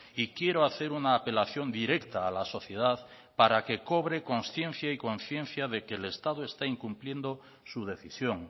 y quiero hacer una apelación directa a la sociedad para que cobre consciencia y conciencia de que el estado está incumpliendo su decisión